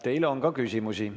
Teile on ka küsimusi.